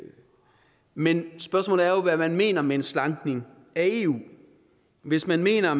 men spørgsmålet er jo hvad man mener med en slankning af eu hvis man mener